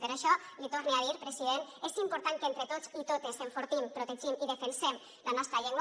per això li torne a dir president és important que entre tots i totes enfortim protegim i defensem la nostra llengua